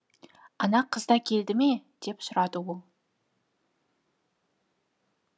ана қыз да келді ме деп сұрады ол